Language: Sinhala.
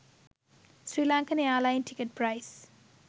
sri lankan airline ticket price